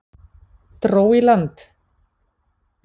Dró í land